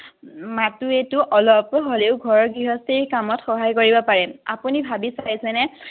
মাহতো এইটো অলপ হ'লেও ঘৰ গৃহস্থী কামত সহায় কৰিব পাৰে আপুনি ভাবি চাইচেনে